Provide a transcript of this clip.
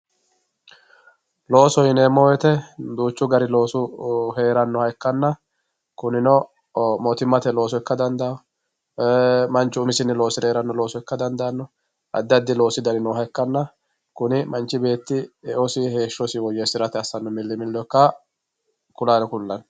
loosoho yineemo woyiite diichu gari loosu heerannoha ikkanna kunino mottummate looso ikka dandaayo manchu umisinni loosire heeranno looso ikka dandaanno addi addi loosi dani nooha ikkanna kuni manchi beetti e"osi heeshshosi woyeesirara assanno milimillo ikka kulanno.